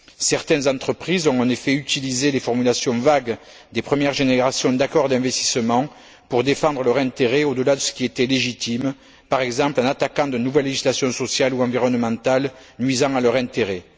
Certaines entreprises ont en effet utilisé les formulations vagues des premières générations d'accords d'investissement pour défendre leur intérêt au delà de ce qui était légitime, par exemple en attaquant de nouvelles législations sociales ou environnementales nuisant à leur intérêt.